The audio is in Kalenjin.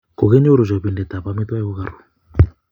Kikinyoru chopinte ab amitwokik kokiru